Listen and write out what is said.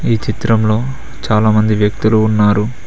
ఈ చిత్రంలో చాలా మంది వ్యక్తులు ఉన్నారు.